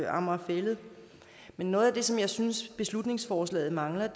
amager fælled men noget af det som jeg synes beslutningsforslaget mangler